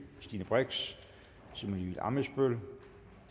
stine brix simon emil ammitzbøll